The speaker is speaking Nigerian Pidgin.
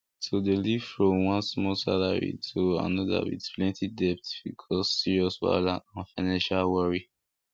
to dey live from one small salary to another with plenty debt fit cause serious wahala and financial worry